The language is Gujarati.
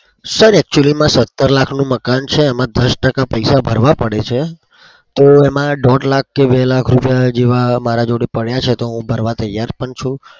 sir actually માં સતર લાખનું મકાન છે એમાં દસ ટકા પૈસા ભરવા પડે છે તો એમાં દોઢ લાખ કે બે લાખ રૂપિયા જેવા મારા જોડે પડ્યા છે. તો હું ભરવા તૈયાર પણ છું.